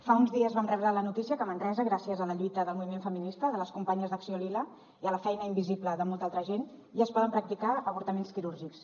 fa uns dies vam rebre la notícia que a manresa gràcies a la lluita del moviment feminista de les companyes d’acció lila i a la feina invisible de molta altra gent ja es poden practicar avortaments quirúrgics